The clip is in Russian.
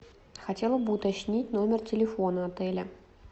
хотела бы уточнить номер телефона отеля